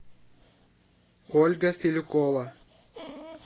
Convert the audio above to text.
ольга филюкова